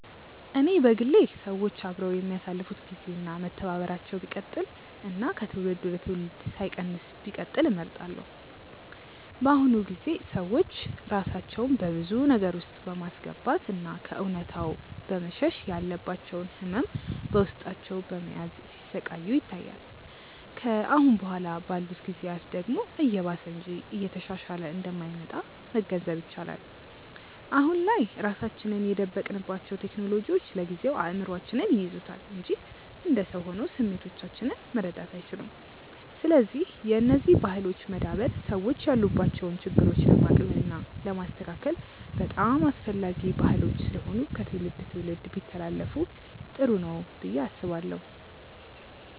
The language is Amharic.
እኔ በግሌ ሰዎች አብረው የሚያሳልፋት ግዜ እና መተባበራቸው ቢቀጥል እና ከትውልድ ወደ ትውልድ ሳይቀንስ ቢቀጥል እመርጣለሁ። በአሁኑ ጊዜ ሰዎች ራሳቸውን በብዙ ነገር ውስጥ በማስገባት እና ከእውነታው በመሸሽ ያለባቸውን ህመም በውስጣቸው በመያዝ ሲሰቃዩ ይታያል። ከአሁን በኋላ ባሉት ጊዜያት ደግሞ እየባሰ እንጂ እየተሻሻለ እንደማይመጣ መገንዘብ ይቻላል። አሁን ላይ ራሳችንን የደበቅንባቸው ቴክኖሎጂዎች ለጊዜው እይምሮአችንን ይይዙታል እንጂ እንደ ሰው ሆነው ስሜቶቻችንን መረዳት አይችሉም። ስለዚህ የነዚህ ባህሎች መዳበር ሰዎች ያሉባቸውን ችግሮች ለማቅለል እና ለማስተካከል በጣም አስፈላጊ ባህሎች ስለሆኑ ከትውልድ ትውልድ ቢተላለፋ ጥሩ ነው ብዬ አስባለሁ።